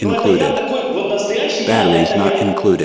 ну это я такой вот настоящий я это я